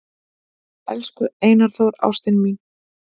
"""Elsku Einar Þór, ástin mín,"""